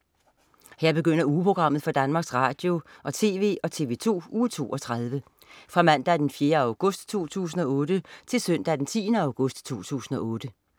Her begynder ugeprogrammet for Danmarks Radio- og TV og TV2 Uge 32 Fra Mandag den 4. august 2008 Til Søndag den 10. august 2008